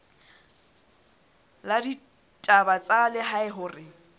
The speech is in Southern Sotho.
la ditaba tsa lehae hore